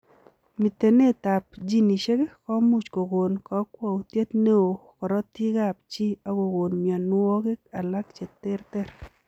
Mitenet ap ginisiek komuuch kogon kakwautiet neo korotik ap chii agogoon mionwogik alaak cheterter.